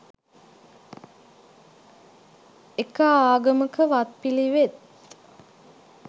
එක ආගමක වත්පිළිවෙත්